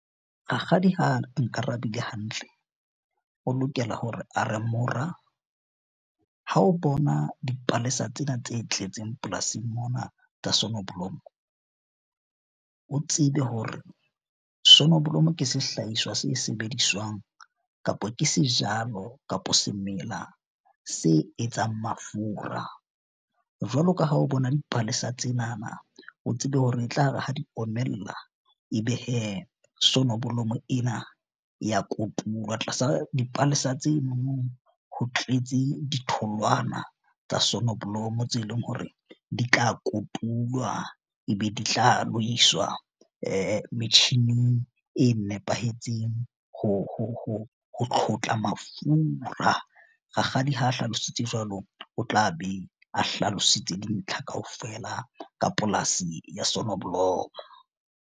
Rakgadi ha nkarabile hantle, o lokela hore a re mora ha o bona dipalesa tsena tse tletseng polasing mona tsa sonoblomo, o tsebe hore sonoblomo ke sehlahiswa se sebediswang kapo ke sejalo kapo semela se etsang mafura. Jwalo ka ha o bona dipalesa tsenana, o tsebe hore etlare ha di omella. Ebe sonoblomo ena ya kotulwa tlasa dipalesa tse mono ho tletse ditholwana tsa sonoblomo tse leng hore di tla kotulwa. E be di tla lo iswa metjhining e nepahetseng ho tlhotlha mafura. Rakgadi ha a hlalositse jwalo o tla be a hlalositse dintlha kaofela ka polasi ya sonoblomo.